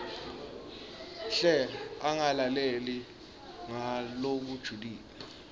hle angalaleli ngalokujulile